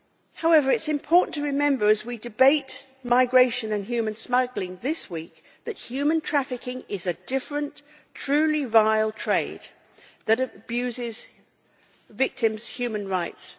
However, it is important to remember as we debate migration and human smuggling this week that human trafficking is a different, truly vile trade that abuses victims' human rights.